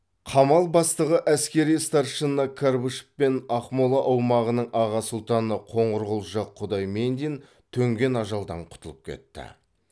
қамал бастығы әскери старшина карбышев пен ақмола аумағының аға сұлтаны қоңырқұлжа құдаймендин төнген ажалдан құтылып кетті